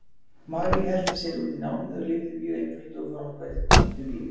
Marie helti sér út í námið og lifði mjög einföldu og fábreyttu lífi.